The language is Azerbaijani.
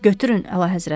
Götürün, əlahəzrət.